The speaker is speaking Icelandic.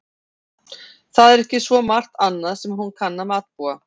Það er ekki svo margt annað sem hún kann að matbúa.